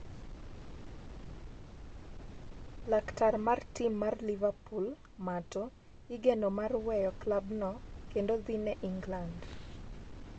laktar mar tim mar liverpool Mato igeno mar weyo klabno kendo dhi ne Ingland